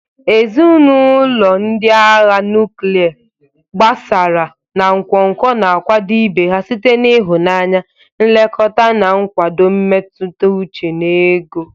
Ezinụlọ ndị agha nuklia, gbasaara na nkwonkwo na-akwado ibe ha site n'ịhụnanya, nlekọta, na nkwado mmetụta uche na ego.